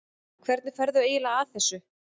Hvernig ferðu eiginlega að þessu?